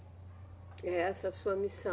E essa é a sua missão.